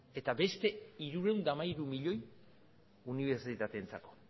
eta beste hirurehun eta hamairu milioi unibertsitateentzako